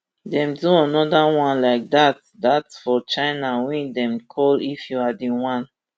dem do anoda one like dat dat for china wey dem call if you are the one